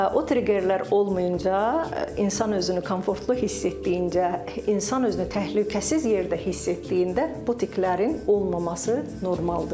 o triggerlər olmayınca, insan özünü komfortlu hiss etdiyincə, insan özünü təhlükəsiz yerdə hiss etdiyində bu tiklərin olmaması normaldır.